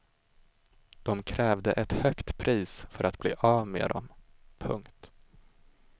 De krävde ett högt pris för att bli av med dem. punkt